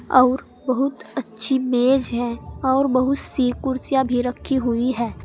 और बहुत अच्छी मेज है और बहुत सी कुर्सियां भी रखी हुई हैं।